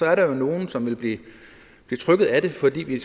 er der jo nogle som vil blive trykket af det fordi vi